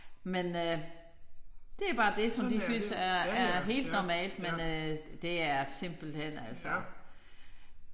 Men øh det bare det som de føles er helt normalt men det er simpelthen altså